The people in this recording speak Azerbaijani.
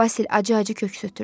Basil acı-acı köks ötürdü.